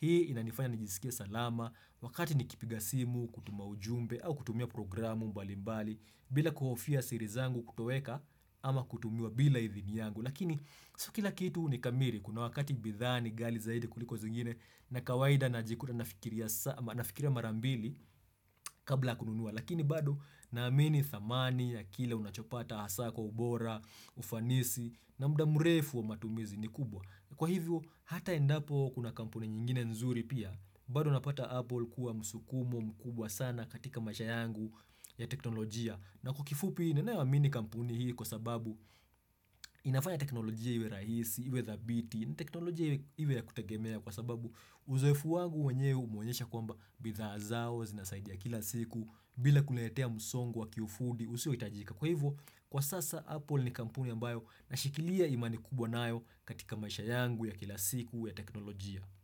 Hii inanifanya nijisikie salama wakati nikipiga simu, kutuma ujumbe au kutumia programu mbalimbali bila kuhofia siri zangu kutoweka ama kutumiwa bila idhini yangu. Lakini sio kila kitu ni kamili kuna wakati bidhaa nigali zaidi kuliko zingine na kawaida najikuta nafikiria sana nafikiria marambili kabla kununuwa. Lakini bado naamini thamani ya kile unachopata hasa kwa ubora, ufanisi na muda mrefu wa matumizi ni kubwa. Kwa hivyo hata endapo kuna kampuni nyingine nzuri pia. Bado napata Apple kuwa msukumo mkubwa sana katika maisha yangu ya teknolojia. Na kwa kifupi, nenewa mimi kampuni hii kwa sababu inafanya teknolojia iwe rahisi, iwe dhabiti, teknolojia iwe ya kutagemea kwa sababu uzoefu wangu wanyewe umeonyesha kwamba bidha zao, zinasaidi kila siku, bila kuletea musongo wa kiufundi, usio itajika. Kwa hivyo, kwa sasa, Apple ni kampuni ambayo na shikilia imani kubwa nayo katika maisha yangu ya kila siku ya teknolojia.